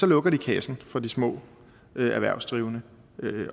lukker de kassen for de små erhvervsdrivende